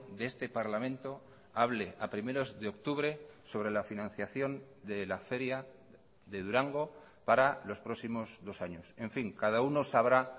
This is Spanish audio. de este parlamento hable a primeros de octubre sobre la financiación de la feria de durango para los próximos dos años en fin cada uno sabrá